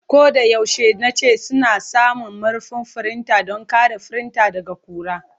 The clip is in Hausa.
Ko da yaushe nace suna samun murfin firinta don kare firinta daga ƙura.